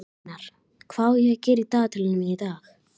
Magnús Hlynur: Hvað áttu við með bulli?